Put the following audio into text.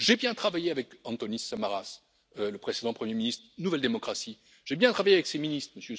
J'ai bien travaillé avec Antonis Samaras, le précédent Premier ministre du parti Nouvelle Démocratie, j'ai bien travaillé avec ses ministres, M.